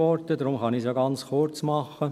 Deshalb kann ich es ganz kurz machen.